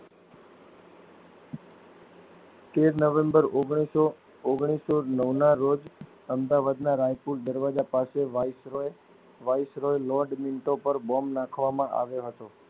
તેર નવેમ્બર ઓગણીસો ઓગણીસો નવ ના રોજ અમદાવડના રાયપુર દરવાજા પાસે viceroy viceroy lord Minto પર બૉમ્બ નાખવામાં આવ્યો હતો.